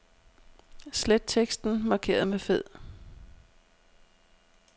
Slet teksten markeret med fed.